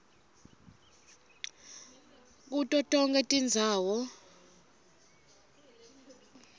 kuto tonkhe tindzawo